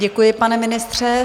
Děkuji, pane ministře.